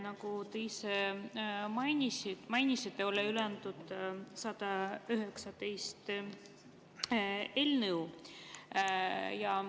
Nagu te ise mainisite, on üle antud 119 eelnõu.